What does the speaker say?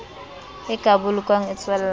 e ka bolokwang e tswella